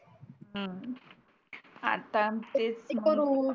हम्म आता तेच